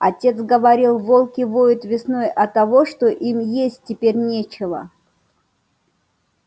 отец говорил волки воют весной оттого что им есть теперь нечего